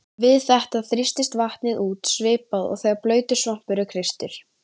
Við þetta þrýstist vatnið út svipað og þegar blautur svampur er kreistur.